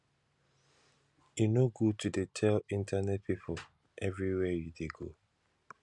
e no good to dey tell internet pipu everywhere you dey go